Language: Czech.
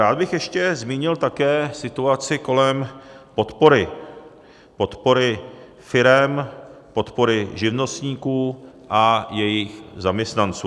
Rád bych ještě zmínil také situaci kolem podpory, podpory firem, podpory živnostníků a jejich zaměstnanců.